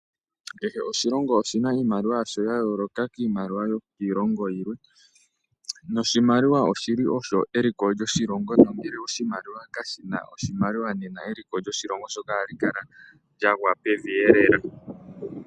Kehe oshilongo oshi na iimaliwa yasho ya yooloka kiimaliwa yokiilongo yilwe noshimaliwa oshi li osho eliko lyoshilongo nongele oshilongo kashi na oshimaliwa nena eliko lyoshilongo shoka ohali kala lya gwa pevi lela.